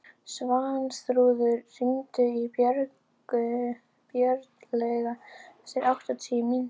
Svanþrúður, hringdu í Björnlaugu eftir áttatíu mínútur.